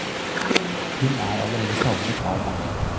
Hun er allerede savnet av mange.